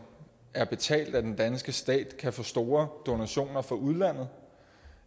er betalt af den danske stat kan få store donationer fra udlandet